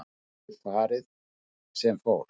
Því hafi farið sem fór